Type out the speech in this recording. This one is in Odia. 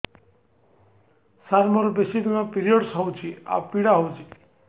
ସାର ମୋର ବେଶୀ ଦିନ ପିରୀଅଡ଼ସ ହଉଚି ଆଉ ପୀଡା ହଉଚି